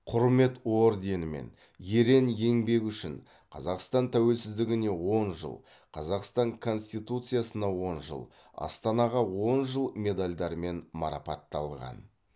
құрмет орденімен ерен еңбегі үшін қазақстан тәуелсіздігіне он жыл қазақстан конституциясына он жыл астанаға он жыл медальдарымен марапатталған